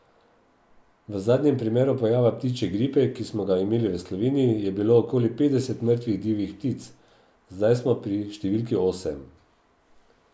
V zadnjem primeru pojava ptičje gripe, ki smo ga imeli v Sloveniji, je bilo okoli petdeset mrtvih divjih ptic, zdaj smo pri številki osem.